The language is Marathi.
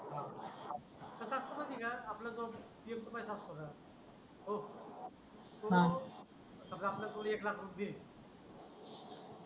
कसा असतं माहित आहे का आपलं जो एक रुपया सापडतो तो समजा आपल्याकडून एक लाख रुपये दिले